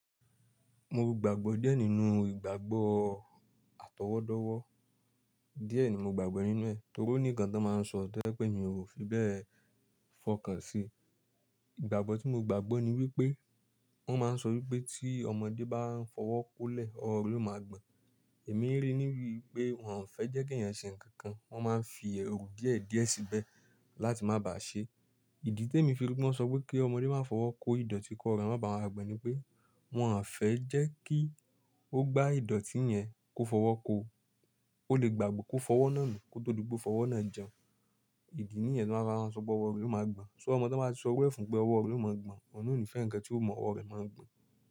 Mo gbàgbọ́ díẹ̀ nínú ìgbàgbọ́ atọwọ́dọ́wọ́. Díẹ̀ ni mo gbàgbọ́ nínú ẹ̀ torí oní nkan ti won máa ń sọ toje pẹ̀ mi ò fi bẹ́ẹ̀ fọkàn sí i. Ìgbàgbọ́ tí mo gbàgbọ́ ni wípé wón máa ń sọ wípé tí ọmọdé bá ń fọwọ́ kó lẹ̀ ọwọ́ rẹ̀ ó máa gbọ̀n. Èmi ríi níbi pé wọ́n ò fẹ́ jẹ́ kí ẹ̀yàn ṣe ǹkan kan wón máa ń fi èru díẹ̀díẹ̀ síbẹ̀ láti má bà ṣe é. Ìdí tí èmi fi rí wípé won so wípé kí ọmọdé máa fọwọ́ kó ìdọ̀tí ki owo re má bàa ma gbon ni pé wọ́n ò fẹ́ jẹ́ kí ó gbá ìdọ̀tí yẹn kó fọwọ́ kó o. Ó lè gbàgbe kó fọwọ́ náà nu kó tó dipe o fọwọ́ náà jẹun. Ìdí nìyẹn tí wón fi máa sọ pé ọwọ́ rẹ̀ ó máa gbọ̀n. "So" ọmọ ti won bá ti sọ iru e fún pé ọwọ́ rẹ̀ ó máa gbọ̀n, ọ̀hun nà òní fẹ́ ǹkan tí ó mu ọwọ́ rẹ̀ máa gbọ̀n.